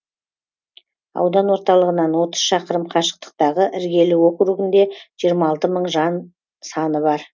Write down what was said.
аудан орталығынан отыз шақырым қашықтықтағы іргелі округінде жиырма алты мың жан саны бар